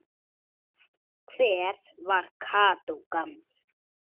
Hver var Kató gamli?